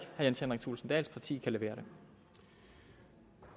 jens henrik thulesen dahls parti kan levere